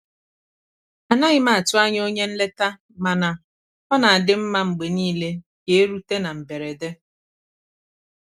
anaghị m atụ anya onye nleta mana ọ na-adị mma mgbe niile ka erute na mberede.